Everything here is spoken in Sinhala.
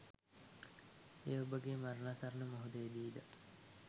එය ඔබගේ මරණාසන්න මොහොතේදී ද